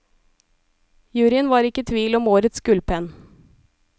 Juryen var ikke i tvil om årets gullpenn.